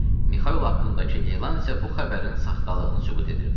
Mixaylo haqqındakı elan isə bu xəbərin saxtalığını sübut edirdi.